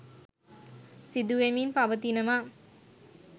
සිදු වෙමින් පවතිනවා.